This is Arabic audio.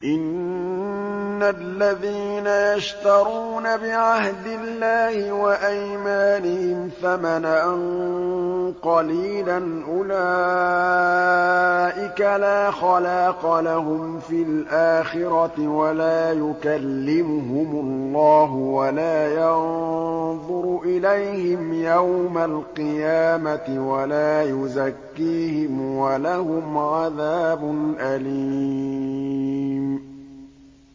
إِنَّ الَّذِينَ يَشْتَرُونَ بِعَهْدِ اللَّهِ وَأَيْمَانِهِمْ ثَمَنًا قَلِيلًا أُولَٰئِكَ لَا خَلَاقَ لَهُمْ فِي الْآخِرَةِ وَلَا يُكَلِّمُهُمُ اللَّهُ وَلَا يَنظُرُ إِلَيْهِمْ يَوْمَ الْقِيَامَةِ وَلَا يُزَكِّيهِمْ وَلَهُمْ عَذَابٌ أَلِيمٌ